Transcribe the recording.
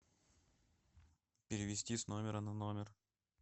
перевести с номера на номер